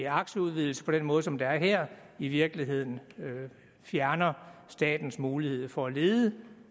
aktieudvidelse på den måde som det sker her i virkeligheden fjerner statens mulighed for at lede